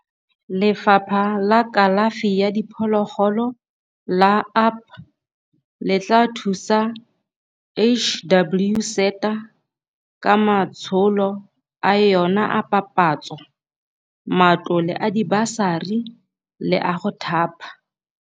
Lefapha la Kalafi ya Diphologolo la UP le tla thusa HWSETA ka matsholo a yona a papatso, matlole a dibasari le a go thapa.